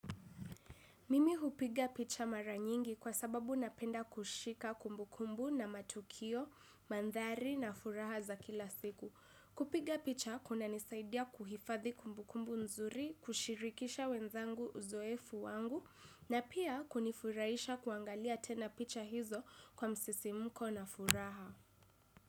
Mimi hupiga picha mara nyingi kwa sababu napenda kushika kumbukumbu na matukio, mandhari na furaha za kila siku. Kupiga picha kunanisaidia kuhifadhi kumbukumbu nzuri kushirikisha wenzangu uzoefu wangu na pia kunifurahisha kuangalia tena picha hizo kwa msisimko na furaha.